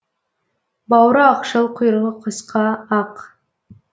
бауыры ақшыл құйрығы қысқа ақ